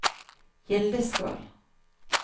Gildeskål